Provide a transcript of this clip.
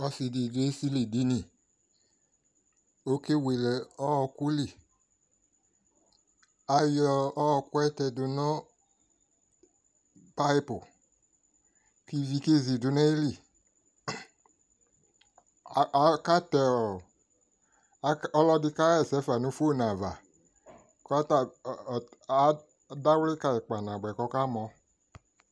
Ɔsi di dʋ esili dini Okewele ɔɔkʋ li Ayɔ ɔɔkʋ ɛ tɛdʋ nʋ payipʋ kʋ ivi kezi dʋ nʋ ayili Akatɛ ɔ, ɔlɔdi kaɣesɛ fa nʋ fonʋ ava, adawli kayi kpanabʋɛ kʋ akamɔ